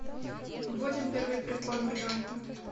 вводим первый прикорм ребенку